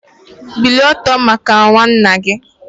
Bilie ọtọ maka nwanne nna gị!